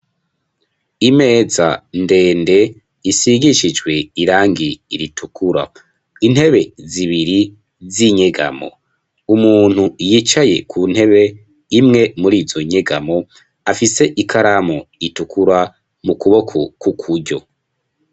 Imeza ndende isigishijwe irangi ritukura intebe zibiri z'inyegamo umuntu yicaye ku ntebe imwe muri izo nyegamo afise ikaramu itukura mu kuboko kukuryo.